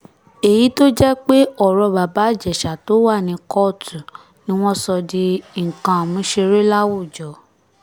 èyí tó jẹ́ pé ọ̀rọ̀ bàbá ìjèṣà tó wà ní kóòtù ni wọ́n sọ di nǹkan àmúṣeré láwùjọ